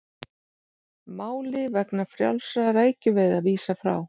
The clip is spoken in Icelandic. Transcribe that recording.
Máli vegna frjálsra rækjuveiða vísað frá